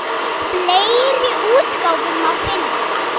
Fleiri útgáfur má finna.